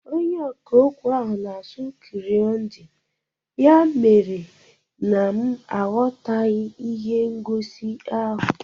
Onyeọkà okwu ahụ na-asụ Kirundi ya mere na m aghọtaghị ihe ngosi ahụ